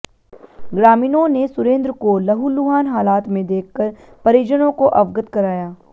ग्रामीणों ने सुरेंद्र को लहूलुहान हालात में देखकर परिजनों को अवगत कराया